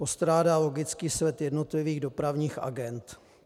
Postrádá logický sled jednotlivých dopravních agend.